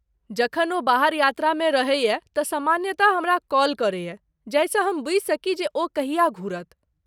जखन ओ बाहर यात्रामे रहैए तँ सामान्यतः हमरा कॉल करैए, जाहिसँ हम बुझि सकी जे ओ कहिया घुरत।